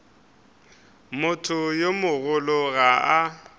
motho yo mogolo ga a